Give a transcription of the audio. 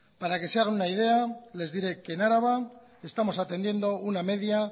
para que se hagan una idea les diré que en araba estamos atendiendo una media